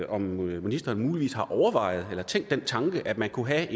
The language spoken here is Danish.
om ministeren muligvis har overvejet eller tænkt den tanke at man kunne have